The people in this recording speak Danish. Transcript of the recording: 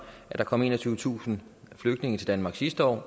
at der kom enogtyvetusind flygtninge til danmark sidste år